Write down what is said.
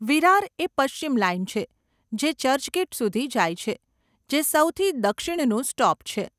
વિરાર એ પશ્ચિમ લાઈન છે, જે ચર્ચગેટ સુધી જાય છે, જે સૌથી દક્ષિણનું સ્ટોપ છે.